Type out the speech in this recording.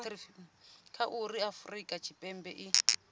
kha uri afurika tshipembe i